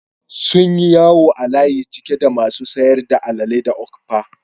Sunyi yawo a layi cike da masu sayar da alele da okpa